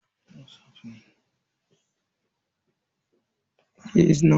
Kanina yana buga wasan kwamfuta.